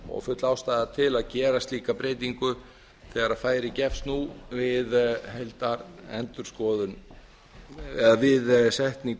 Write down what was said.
og full ástæða til að gera slíka breytingu þegar færi gefst nú við setningu